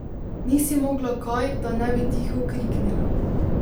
Ni si mogla kaj, da ne bi tiho kriknila.